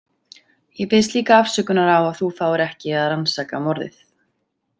Ég biðst líka afsökunar á að þú fáir ekki að rannsaka morðið.